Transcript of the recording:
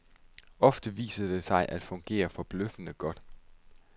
Ofte viser det sig at fungere forbløffende godt.